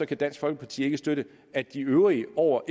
kan dansk folkeparti ikke støtte at de øvrige over